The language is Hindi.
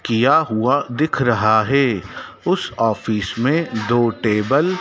किया हुआ दिख रहा है उस ऑफिस में दो टेबल --